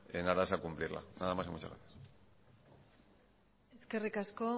en aras de cumplirla nada más muchas gracias eskerrik asko